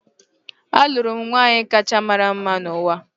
Alụrụ m nwaanyị kacha mara mma n’ụwa